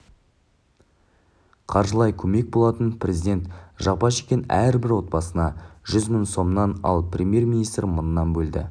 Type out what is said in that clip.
қаржылай көмек болатын президент жапа шеккен әрбір отбасына жүз мың сомнан ал премьер-министр мыңнан бөлді